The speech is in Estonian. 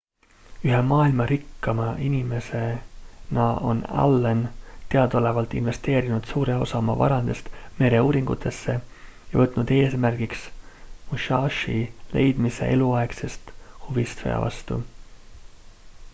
ühe maailma rikkaima inimesena on allen teadaolevalt investeerinud suure osa oma varandusest mereuuringutesse ja võtnud eesmärgiks musashi leidmise eluaegsest huvist sõja vastu